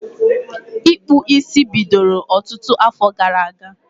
Ịkpụ isi bidoro ọtụtụ afọ gara aga